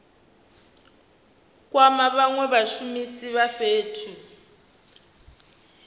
kwama vhanwe vhashumisi vha fhethu